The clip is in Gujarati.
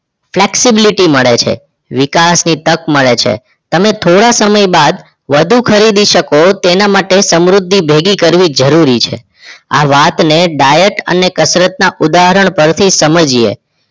flexbility મળે છે વિકાસની તક મળે છે તમે થોડા સમય બાદ વધુ ખરીદી શકો તેના માટે સમૃદ્ધિ ભેગી કરવી જરૂરી છે આ વાત ને ડાયટ અને કસરત ના ઉદાહરણ થી સમજીએ